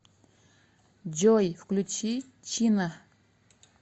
джой включи чина